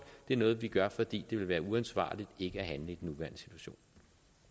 det noget vi gør fordi det ville være uansvarligt ikke at handle